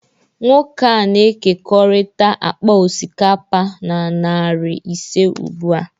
Nwoke a na-ekekọrịta akpa osikapa na narị ise ugbu a